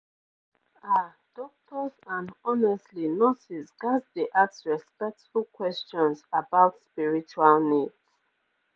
ah doctors and honestly nurses ghats dey ask respectful questions about spiritual needs